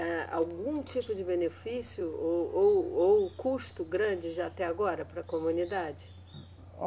Há algum tipo de benefício ou, ou, ou custo grande, já até agora, para a comunidade?